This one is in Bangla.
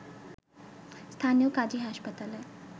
স্থানীয় কাজী হাসপাতালে